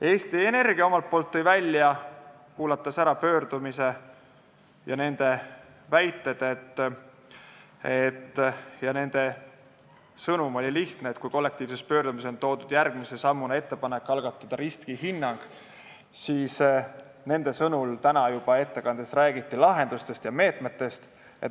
Eesti Energia, kuulanud ära pöördumise, tõi välja selle lihtsa sõnumi, et kui kollektiivses pöördumises on järgmise sammuna toodud riskihinnangu algatamise ettepanek, siis nende sõnul ettekandes juba räägiti lahendustest ja meetmetest.